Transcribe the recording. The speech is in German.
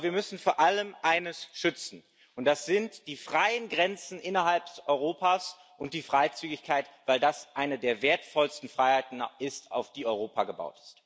Aber wir müssen vor allem eines schützen, das sind die freien Grenzen innerhalb Europas und die Freizügigkeit, weil das eine der wertvollsten Freiheiten ist, auf die Europa gebaut ist.